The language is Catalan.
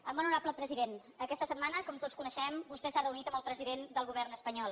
molt honorable president aquesta setmana com tots coneixem vostè s’ha reunit amb el president del govern espanyol